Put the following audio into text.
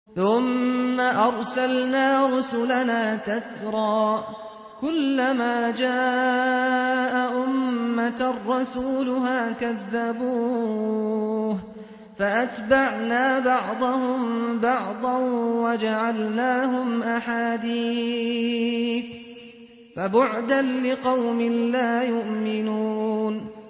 ثُمَّ أَرْسَلْنَا رُسُلَنَا تَتْرَىٰ ۖ كُلَّ مَا جَاءَ أُمَّةً رَّسُولُهَا كَذَّبُوهُ ۚ فَأَتْبَعْنَا بَعْضَهُم بَعْضًا وَجَعَلْنَاهُمْ أَحَادِيثَ ۚ فَبُعْدًا لِّقَوْمٍ لَّا يُؤْمِنُونَ